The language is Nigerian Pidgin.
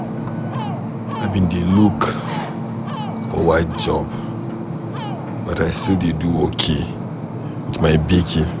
I bin dey look for white job but I still dey okay with my baking.